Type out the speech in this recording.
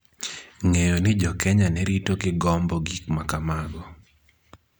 ng�eyo ni Jo-Kenya ne rito gi gombo gik ma kamago